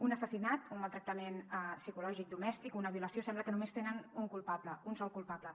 un assassinat un maltractament psicològic domèstic o una violació sembla que només tenen un culpable un sol culpable